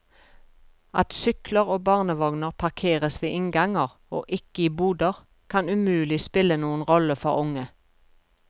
At sykler og barnevogner parkeres ved innganger og ikke i boder, kan umulig spille noen rolle for unge.